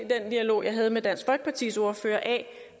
den dialog jeg havde med dansk folkepartis ordfører af